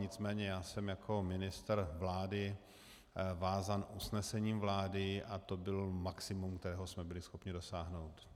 Nicméně já jsem jako ministr vlády vázán usnesením vlády a to bylo maximum, kterého jsme byli schopni dosáhnout.